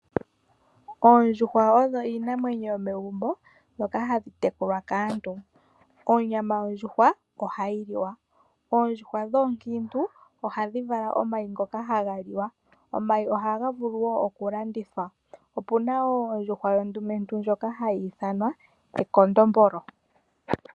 Oondjuhwa odho iinamwenyo yomegombo mbyoka hayi tekulwa kaantu, onyama yondjuhwa ohayi liwa. Oondjuhwa dhoonkiintu ohadhi vala omayi ngoka haga liwa, omayi ohaga vulu woo oku landithwa. Opuna woo ondjuhwa yondumentu ndjoka hayi ithanwa ekondombolo.